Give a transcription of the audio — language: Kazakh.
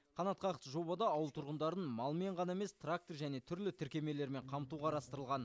қанатқақты жобада ауыл тұрғындарын малмен ғана емес трактор және түрлі тіркемелермен қамту қарастырылған